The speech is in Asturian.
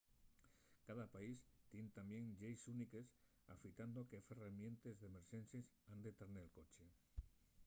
cada país tien tamién lleis úniques afitando qué ferramientes d’emerxencies han tar nel coche